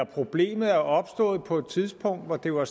problemet er opstået på et tidspunkt hvor det var